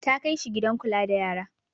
Ta kai shi gidan kula da yara.